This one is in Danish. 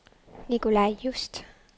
Nicolai Just